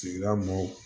Sigida mɔw